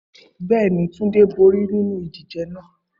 Bẹẹni, Tunde bori ninu idije naa